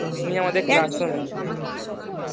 উনি আমাদের class room এ